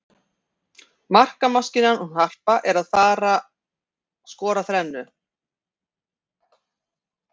Markamaskínan hún Harpa er að fara skora þrennu.